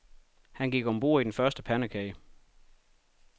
Han gik om bord i den første pandekage.